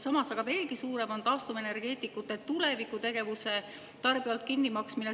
Samas aga on veelgi suurem tarbijale taastuvenergeetikute tuleviku tegevuse kinnimaksmine.